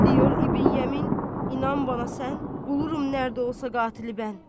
Deyir İbn Yəmin, inan mənə sən, bulurum harda olsa qatili mən.